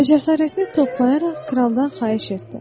Və cəsarəti toplayaraq kraldan xahiş etdi.